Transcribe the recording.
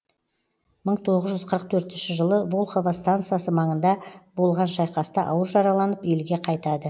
мың тоғыз жүз қырық төртінші жылы волхово стансасы маңында болған шайқаста ауыр жараланып елге қайтады